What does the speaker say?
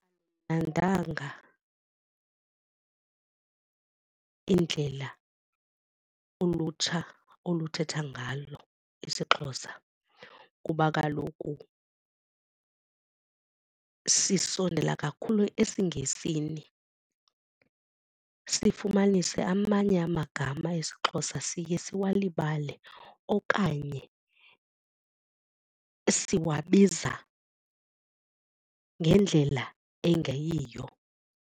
indlela ulutsha oluthetha ngalo isiXhosa kuba kaloku sisondela kakhulu esiNgesini sifumanise amanye amagama esiXhosa siye siwalibale okanye siwabiza ngendlela engeyiyo.